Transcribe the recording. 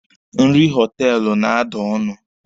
Nri họtelụ na-ada ọnụ.